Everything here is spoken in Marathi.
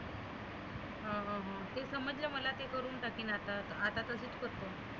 हं हं हं. ते समजल मला ते करुण टाकीन आता आता लगेच करतो.